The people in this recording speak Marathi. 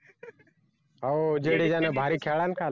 हो जडेजा ना भारी खेळला ना काल